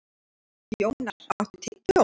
Jónar, áttu tyggjó?